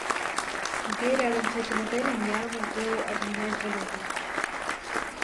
где рядом с этим отелем я могу обменять валюту